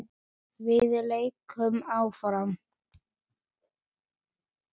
Verða leikmenn áfram?